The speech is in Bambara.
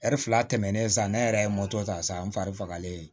fila tɛmɛnen sa ne yɛrɛ ye moto ta sa an fari fagalen